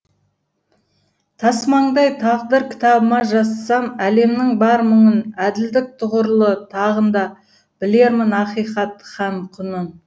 тасмаңдай тағдыр кітабыма жазсам әлемнің бар мұңын әділдік тұғырлы тағында білермін ақиқат һәм құнын